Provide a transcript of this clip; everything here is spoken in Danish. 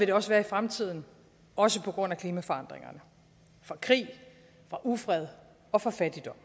det også være i fremtiden også på grund af klimaforandringerne fra krig fra ufred og fra fattigdom